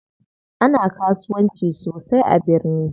Ana kasuwanci sosai a birni.